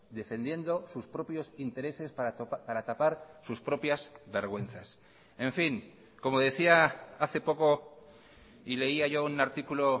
defendiendo sus propios intereses para tapar sus propias vergüenzas en fin como decía hace poco y leía yo un artículo